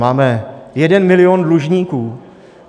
Máme jeden milion dlužníků.